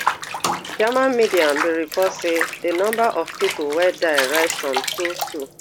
german media bin report say di number of pipo wey die rise from two two